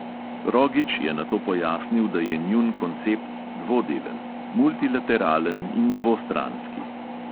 Rogić je nato pojasnil, da je njun koncept dvodelen – multilateralen in dvostranski.